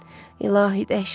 İlahi, dəhşətdir.